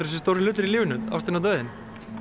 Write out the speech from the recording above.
þessir stóru hlutir í lífinu ástin og dauðinn